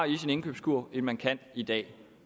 i sin indkøbskurv end man kan i dag